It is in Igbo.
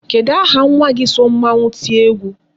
Kedụ aha nwa gi so mmanwu tie egwu?